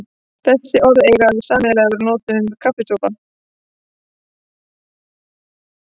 Þessi orð eiga það sameiginlegt að vera notuð um kaffisopa.